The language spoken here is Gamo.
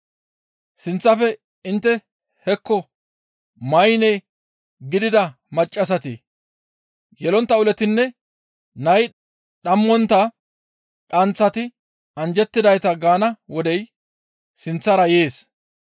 ‹Sinththafe intte hekko maynne gidida maccassati, yelontta ulotinne nay dhammontta dhanththati anjjettidayta!› gaana wodey sinththara yees.